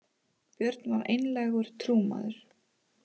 Björn var einlægur trúmaður.